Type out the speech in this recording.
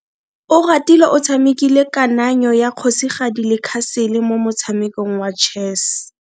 Oratile o tshamekile kananyo ya kgosigadi le khasele mo motshamekong wa chess.